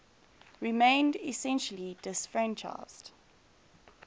remained essentially disfranchised